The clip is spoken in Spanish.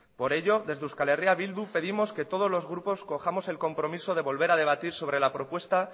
por ello desde euskal herria bildu pedimos que todos los grupos cojamos el compromiso de volver a debatir sobre la propuesta